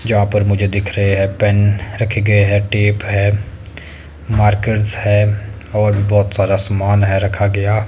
जहां पर मुझे दिख रहे हैं पेन रखे गए हैं टेप है मार्कर्स है और बहोत सारा समान है रखा गया।